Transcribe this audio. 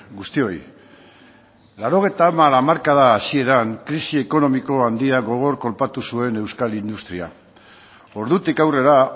guztioi laurogeita hamar hamarkada hasieran krisi ekonomiko handia gogor kolpatu zuen euskal industria ordutik aurrera